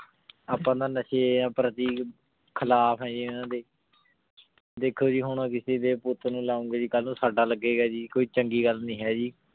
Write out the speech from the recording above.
ਆਪਾਂ ਨਾ ਨਾਸ਼੍ਯਾਂ ਪ੍ਰਤੀਕ ਖਿਲਾਫ਼ ਯਜ਼ੀ ਇਨਾਂ ਦੇ ਦੇਖੋ ਜੀ ਹੁਣ ਕਿਸੇ ਦੇ ਪੁਤ ਨੂ ਲਾਉਣ ਗੇ ਜੀ ਕਲ ਨੂ ਸਦਾ ਲਗੀ ਗਾ ਜੀ ਕੋਈ ਚੰਗੀ ਗਲ ਨਾਈ ਹੈ ਜੀ